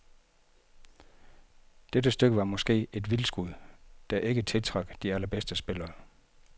Det stykke var måske et vildskud, der ikke tiltrak de allerbedste spillere.